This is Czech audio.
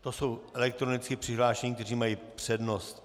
To jsou elektronicky přihlášení, kteří mají přednost.